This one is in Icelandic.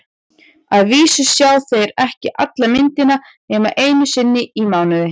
Að vísu sjá þeir ekki alla myndina nema einu sinni í mánuði.